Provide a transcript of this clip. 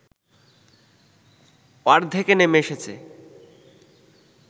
অর্ধেকে নেমে এসেছে